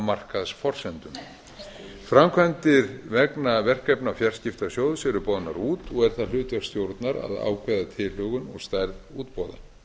markaðsforsendum framkvæmdir vegna verkefna fjarskiptasjóðs eru boðnar út og er það hlutverk stjórnar að ákveða tilhögun og stærð útboða